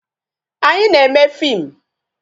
Anyị na-eme fim